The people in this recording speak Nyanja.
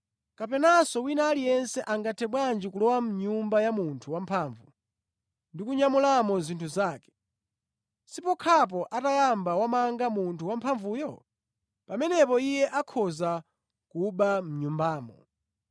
“Kapenanso wina aliyense angathe bwanji kulowa mʼnyumba ya munthu wamphamvu ndi kunyamulamo zinthu zake, sipokhapo atayamba wamanga munthu wa mphamvuyo? Pamenepo iye akhoza kuba mʼnyumbamo.